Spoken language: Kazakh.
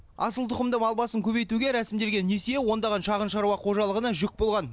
асылтұқымды мал басын көбейтуге рәсімделген несие ондаған шағын шаруа қожалығына жүк болған